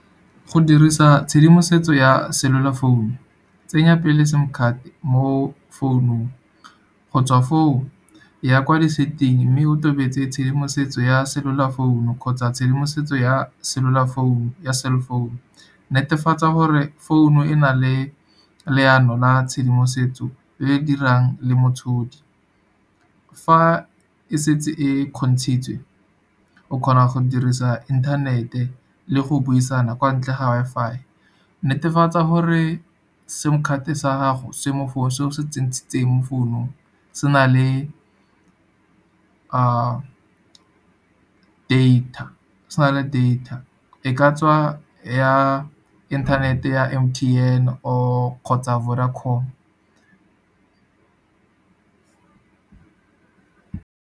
Go dirisa tshedimosetso ya cellular founu, tsenya pele SIM card mo founung. Go tswa foo, eya kwa di-setting mme o tobetse tshedimosetso ya cellular founu kgotsa tshedimosetso, ya cell founu. Netefatsa gore founu e na le leano la tshedimosetso, e e dirang le motshodi. Fa e setse e kgontshitswe, o kgona go dirisa inthanete, le go buisana kwa ntle ga Wi-Fi. Netefatsa gore SIM card sa gago se mo founung, se o se tshentshiteng mo founung, se na le data, e ka tswa ya internet-e ya M_T_N or kgotsa Vodacom.